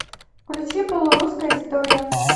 включи полурусская история